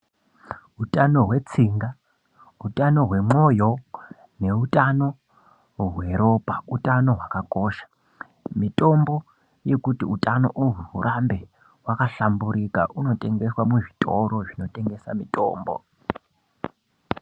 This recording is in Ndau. Hutano hwe tsinga utano hwe moyo ne utano hwe ropa utano hwaka kosha mitombo yekuti utano uhwu hurambe hwaka hlamburika uno tengeswa mu zvitoro zvino tengesa mutombo.